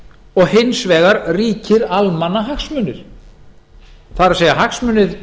og hins vegar ríkir ríkir almannahagsmunir það er hagsmunir